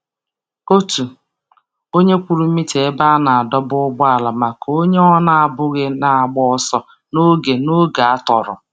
Otu onye kwụrụ mita ebe a na-adọba ụgbọala maka onye ọ na-amabughị na-agba ọsọ n'oge n'oge atọrọ.